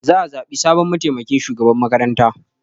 Za a zaɓi sabon mataimakin shugaban makaranta.